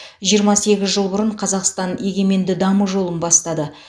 жиырма сегіз жыл бұрын қазақстан егеменді даму жолын бастады